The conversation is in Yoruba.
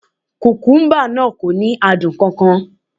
Kùkúmbà náà kò ní adùn kan kan